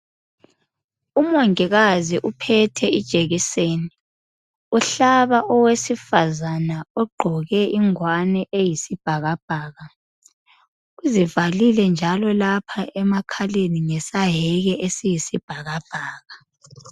Umongikazi uphethe ijekiseni uhlaba owesifazana ogqoke ingwane eyisibhakabhaka uzivalile njalo lapha emakhaleni ngesaheke esiyisibhakabhaka.